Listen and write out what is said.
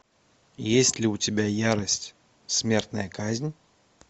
есть ли у тебя ярость смертная казнь